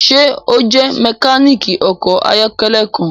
Ṣe o jẹ mekaniki ọkọ ayọkẹlẹ kan?